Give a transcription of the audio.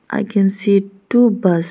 I can see two bus --